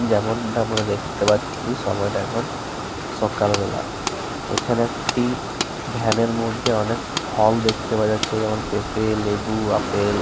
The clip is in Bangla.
যেমনটা আমরা দেখতে পাচ্ছি সময়টা এখন সকালবেলা। এখানে একটি ভ্যান এর মধ্যে অনেক ফল দেখতে পাওয়া যাচ্ছে যেমন পেঁপে লেবু আপেল --